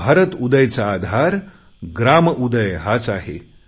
भारतउदय चा आधार ग्राम उदय हाच आहे